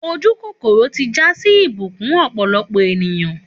Òjúkókòrò tí jà sí ìsúbù ọ̀pọ̀lọpọ̀ ènìyàn.